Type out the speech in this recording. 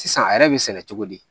Sisan a yɛrɛ bɛ sɛnɛ cogo di